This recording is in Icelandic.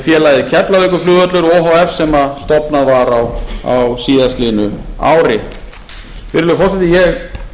félagið keflavíkurflugvöllur o h f sem stofnað var á síðastliðnu ári virðulegi forseti ég